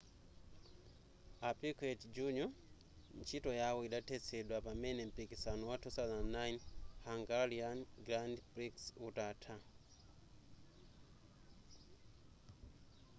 a piquet jr ntchito yawo idathetsedwa pamene mpikisano wa 2009 hungarian grand prix utatha